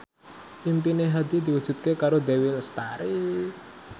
impine Hadi diwujudke karo Dewi Lestari